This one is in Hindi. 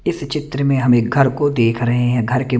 इस चित्र में हम एक घर को देख रहे हैं घर के--